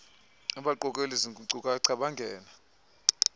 abaqokeleli zinkcukacha bangene